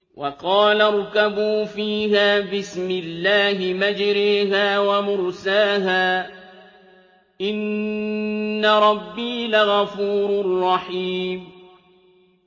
۞ وَقَالَ ارْكَبُوا فِيهَا بِسْمِ اللَّهِ مَجْرَاهَا وَمُرْسَاهَا ۚ إِنَّ رَبِّي لَغَفُورٌ رَّحِيمٌ